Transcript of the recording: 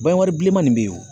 bilenman nin bɛ yen o